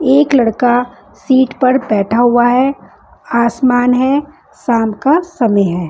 एक लड़का सीट पर बैठा हुआ है आसमान है साम का समय है।